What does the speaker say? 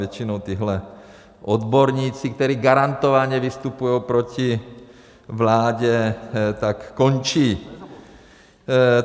Většinou tihle odborníci, kteří garantovaně vystupujou proti vládě, tak končí.